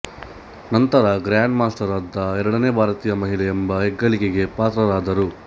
ನಂತರ grandmaster ಆದ ಎರಡನೇ ಭಾರತೀಯ ಮಹಿಳೆ ಎಂಬ ಹೆಗ್ಗಳಿಕೆಗೆ ಪಾತ್ರರಾದರು